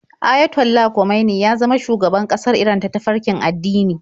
Ayatollah Khomeini ya zama shugaban ƙasar Iran ta farkin addini.